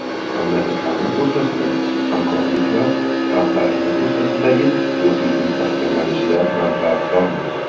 Mamlakatlarimiz o‘rtasidagi hamkorlik va xalqlarimiz o‘rtasidagi do‘stlik mustahkamlanishidan manfaatdormiz”.